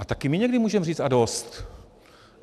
A také my někdy můžeme říct a dost!